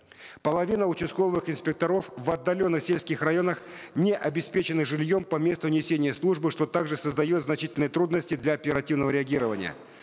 половина участковых инспекторов в отдаленных сельских районах не обеспечены жильем по месту несения службы что также создает занчительные трудности для оперативного реагирования